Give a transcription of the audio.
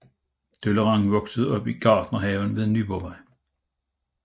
Deleuran voksede op i Gartnerhaven ved Nyborgvej